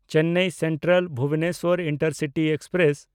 Chennai ᱥᱮᱱᱴᱨᱟᱞ–ᱵᱷᱩᱵᱚᱱᱮᱥᱥᱚᱨ intercity express